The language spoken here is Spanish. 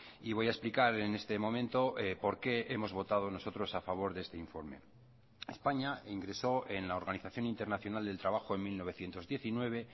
y voy a explicar en este momento por qué hemos votado nosotros a favor de este informe españa ingresó en la organización internacional del trabajo en mil novecientos diecinueve